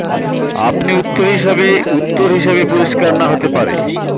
আপনি উত্তর হিসাবে উত্তর হিসাবে পরিষ্কার না হতে পারে